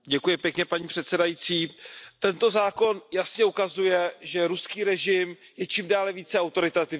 Paní předsedající, tento zákon jasně ukazuje, že ruský režim je čím dále více autoritativní.